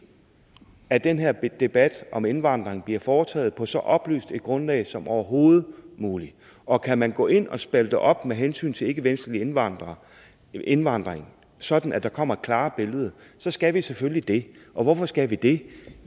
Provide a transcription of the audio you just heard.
at den her debat om indvandring bliver foretaget på så oplyst et grundlag som overhovedet muligt og kan man gå ind og spalte op med hensyn til ikkevestlig indvandring indvandring sådan at der kommer et klarere billede så skal vi selvfølgelig det hvorfor skal vi det